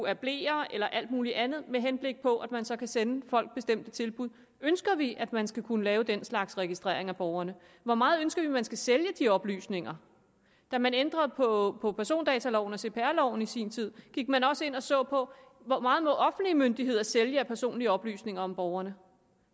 af bleer eller alt muligt andet med henblik på at man så kan sende folk bestemte tilbud ønsker vi at man skal kunne lave den slags registrering af borgerne hvor meget ønsker vi at man skal sælge de oplysninger da man ændrede på på persondataloven og cpr loven i sin tid gik man også ind og så på hvor meget offentlige myndigheder må sælge af personlige oplysninger om borgerne